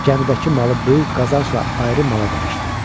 Gəmidəki malı böyük qazanc ilə ayrı mala dəyişdim.